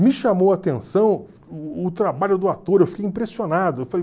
Me chamou a atenção o trabalho do ator, eu fiquei impressionado. Eu falei